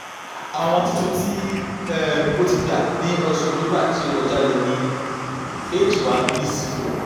awọn titun ti um o ti gba ni oṣù october ti o kọja ni h one bc four